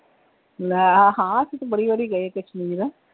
ਮੈ ਹਾਂ, ਅਸੀਂ ਤਾਂ ਬੜੀ ਵਾਰੀ ਗਏ ਆ ਕਸ਼ਮੀਰ।